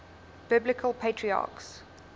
biblical patriarchs